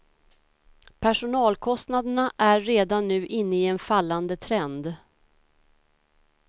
Personalkostnaderna är redan nu inne i en fallande trend.